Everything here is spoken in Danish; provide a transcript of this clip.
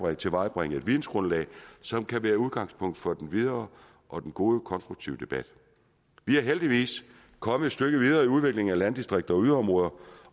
at tilvejebringe et vidensgrundlag som kan være udgangspunkt for den videre og den gode konstruktive debat vi er heldigvis kommet et stykke videre i udviklingen af landdistrikter og yderområder